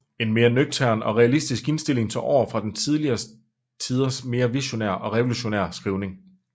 En mere nøgtern og realistisk indstilling tog over fra tidligere tiders mere visionære og revolutionære skrivning